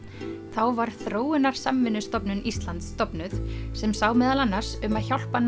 þá var Þróunarsamvinnustofnun Íslands stofnuð sem sá meðal annars um að hjálpa